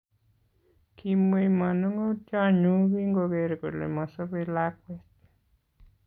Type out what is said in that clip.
Kimwei manongotionyu kingoker kole mosobei lakwet